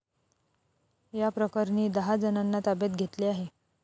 याप्रकरणी दहाजणांना ताब्यात घेतले आहे.